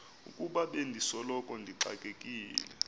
ukuba bendisoloko ndixakekile